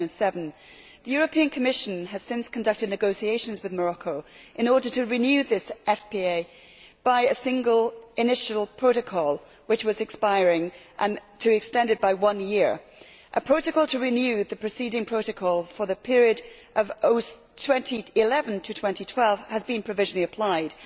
2007. The Commission has since conducted negotiations with Morocco in order to renew this FPA by a single initial protocol, which was expiring, and to extend it by one year. A protocol to renew the preceding protocol for the period of 2011 to 2012 has been provisionally applied.